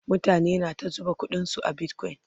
mutane na ta zuba ƙuɗin su a bitcoin